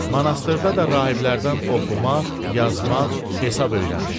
Manastırda da rahiblərdən oxumaq, yazmaq, hesab öyrənmişəm.